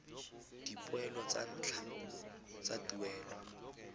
dipoelo tsa ntlha tsa tuelo